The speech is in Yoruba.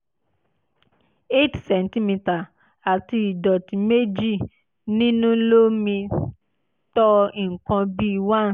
eight centimetre àti ìdọ̀tí méjì nínú lo mi tó nǹkan bí one